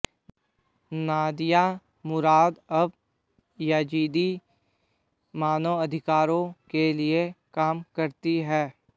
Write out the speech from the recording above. Nadia Murad अब Yazidi मानवाधिकारों के लिए काम करती हैं